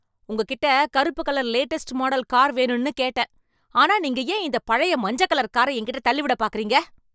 உங்ககிட்ட கருப்பு colour latest model car வேணும்னு கேட்டேன், ஆனா நீங்க ஏன் இந்த பழைய மஞ்ச கலர் கார என்கிட்ட தள்ளி விட பார்க்கறீங்க?